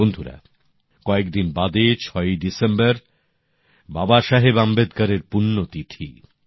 বন্ধুরা কয়েকদিন বাদে ৬ই ডিসেম্বর বাবাসাহেব আম্বেদকরের পুণ্য তিথি